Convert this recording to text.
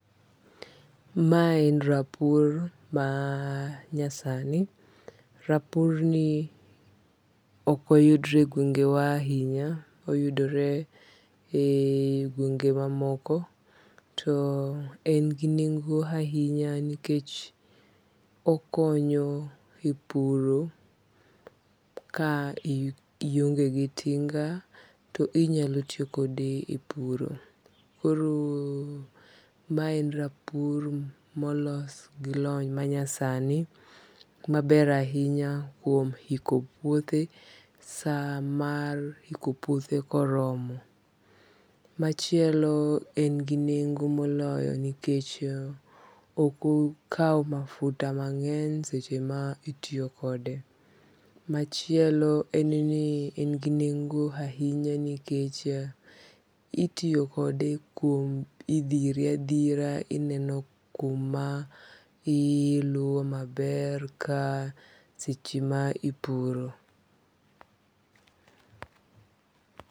Mae en rapur manyasani, rapurni okoyudre e gwengewa ahinya, oyudore e gwenge mamoko to en gi nengo' ahinya to okonyo epuro ka iongegi tinga to inyalo tiyo kode e puro. Koro mae en rapur ma olos gi lony manyasani maber ahinya kuom hiko puothe saa mar hiko puothe koromo, machielo en gi nengo' moloyo nikech okokau mafuta mange'ny seche ma itiyo kode, machielo en ni en gi nengo ahinya nikech itiyo kode kuom ithire athira ineno kuma iluo maber seche ma ipuro